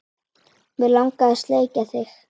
Mig langar að sleikja þig.